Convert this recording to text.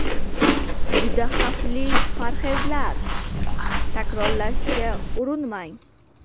Juda xavfli parhezlar: takrorlashga urinmang.